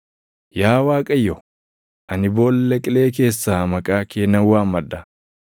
Yaa Waaqayyo, ani boolla qilee keessaa maqaa kee nan waammadha.